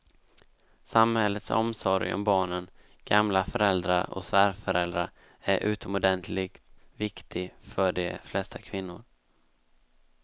Samhällets omsorg om barnen, gamla föräldrar och svärföräldrar är utomordentligt viktig för de flesta kvinnor.